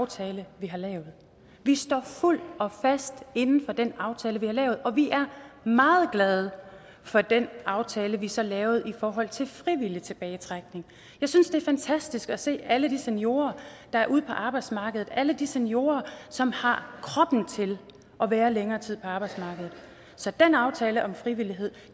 aftale vi har lavet vi står fuldt og fast inde for den aftale vi har lavet og vi er meget glade for den aftale vi så lavede i forhold til frivillig tilbagetrækning jeg synes det er fantastisk at se alle de seniorer der er ude på arbejdsmarkedet alle de seniorer som har kroppen til at være længere tid på arbejdsmarkedet så den aftale om frivillighed